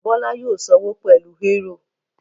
Bọ́lá yóò sanwó pẹlu eúrò.